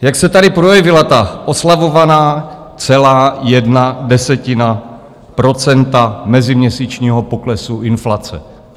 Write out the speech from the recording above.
Jak se tady projevila ta oslavovaná celá jedna desetina procenta meziměsíčního poklesu inflace?